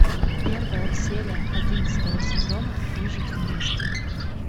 первая серия одиннадцатого сезона выжить вместе